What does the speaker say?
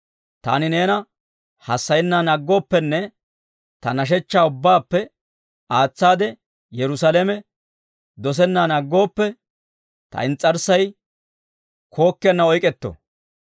Taani neena hassayennan aggooppenne ta nashshechchaa ubbaappe aatsaade Yerusaalame dosennan aggooppe, ta ins's'arssay kookkiyaana oyk'k'etto.